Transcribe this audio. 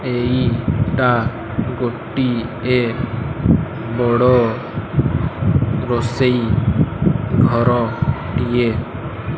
ଏଇଟା ଗୋଟିଏ ବଡ ରୋଷେଇ ଘରଟିଏ।